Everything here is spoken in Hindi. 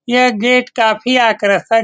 यह गेट काफी आकर्षक --